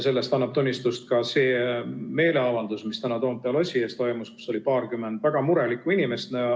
Sellest annab tunnistust ka see meeleavaldus, mis täna Toompea lossi ees toimus ja kus oli paarkümmend väga murelikku inimest.